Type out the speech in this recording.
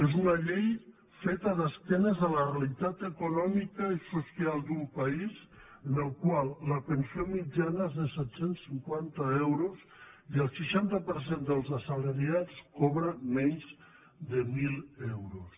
és una llei feta d’esquena a la realitat econòmica i social d’un país en el qual la pensió mitjana és de set cents i cinquanta euros i el seixanta per cent dels assalariats cobra menys de mil euros